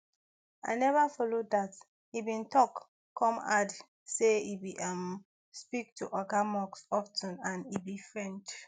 i neva follow dat e bin tok come add say e dey um speak to oga musk of ten and e be friend